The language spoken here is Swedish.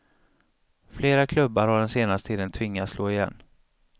Flera klubbar har den senaste tiden tvingats slå igen.